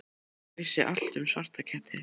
Ég vissi allt um svarta ketti.